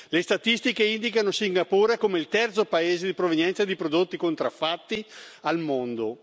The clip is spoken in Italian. Le statistiche indicano Singapore come il terzo paese di provenienza di prodotti contraffatti al mondo.